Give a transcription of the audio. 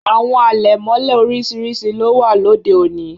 Àwọn àlẹ̀mọ̀lẹ̀ orísirísi ló wà lọdẹ́ ọ̀ní.